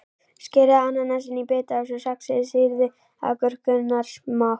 Skerið ananasinn í bita og saxið sýrðu agúrkurnar smátt.